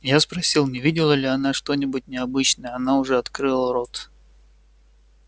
я спросил не видела ли она что-нибудь необычное она уже открыла рот